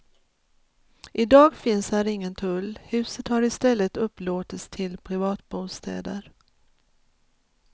I dag finns här ingen tull, huset har istället upplåtits till privatbostäder.